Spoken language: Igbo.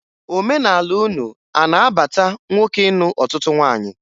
Omenala unu a na-abata nwoke ịnụ ọtụtụ nwaanyị